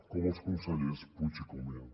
com els consellers puig i comín